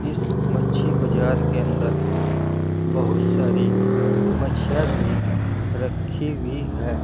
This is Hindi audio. मच्छी बाजार के अंदर बहुत सारी मच्छीआ भी रखी हुई है।